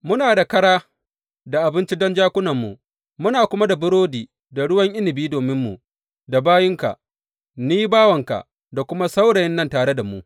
Muna da ƙara da abinci don jakunanmu, muna kuma da burodi da ruwan inabi dominmu da bayinka, ni, baiwarka da kuma saurayin nan tare da mu.